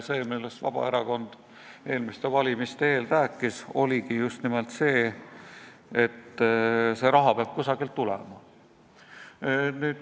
See, millest Vabaerakond eelmiste valimiste eel rääkis, oligi just nimelt see, et see raha peab kusagilt tulema.